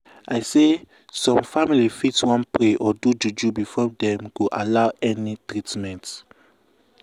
i say some family fit wan pray or do juju before dem go allow any treatment.